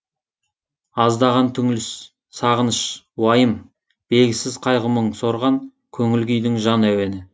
аздаған түңіліс сағыныш уайым белгісіз қайғы мұң сорған көңіл күйдің жан әуені